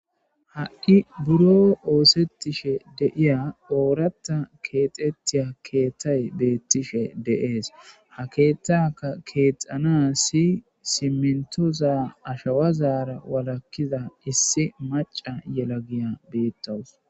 ha7i buro oosettishe deiya ooratta keexettiya keettay beettishe de7ees ha keethtaka keexana si simentoza ashawazaara walakkiza issi maca yela giya beettawus